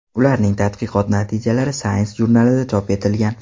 Ularning tadqiqot natijalari Science jurnalida chop etilgan.